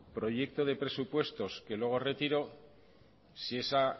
proyecto de presupuestos que luego retiró si esa